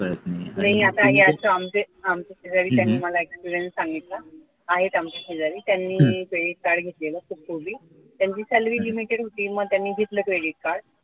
नाही आता आमचे आमचे शेजारी त्यांनी मला experience सांगितला आहेत आमचे शेजारी त्यांनी credit card घेतलेलं खूप पूर्वी त्यांची salary limited होती मग त्यांनी घेतलं credit card